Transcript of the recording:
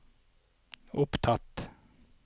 opptatt